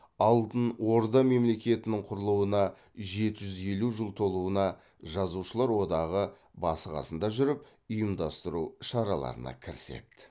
алтын орда мемлекетінің құрылуына жеті жүз елу жыл толуына жазушылар одағы басы қасында жүріп ұйымдастыру шараларына кіріседі